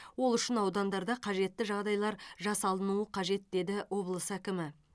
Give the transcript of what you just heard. ол үшін аудандарда қажетті жағдайлар жасалынуы қажет деді облыс әкімі